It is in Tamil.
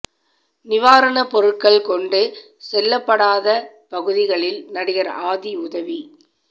நிவாரண பொருட்கள் கொண்டு செல்ல படாத பகுதிகளில் நடிகர் ஆதி உதவி